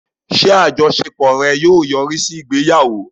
Ṣé àjọṣepọ̀ rẹ̀ yóò yọrí sí ìgbéyàwó?